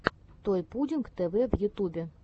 той пудинг тэ вэ в ютубе